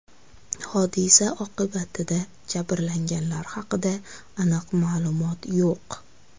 Hodisa oqibatida jabrlanganlar haqida aniq ma’lumot yo‘q.